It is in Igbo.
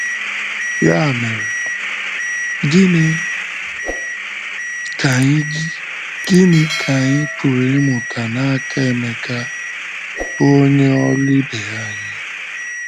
Ya mere, gịnị ka anyị gịnị ka anyị pụrụ ịmụta n’aka Emeka, bụ́ onye ọrụ ibe anyị?